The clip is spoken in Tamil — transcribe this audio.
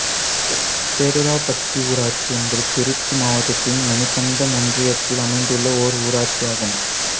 சேதுராபட்டி ஊராட்சி என்பது திருச்சி மாவட்டத்தின் மணிகண்டம் ஒன்றியத்தில் அமைந்துள்ள ஓர் ஊராட்சியாகும்